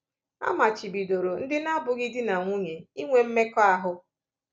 A machibidoro ndị na-abụghị di na nwunye inwe mmekọahụ.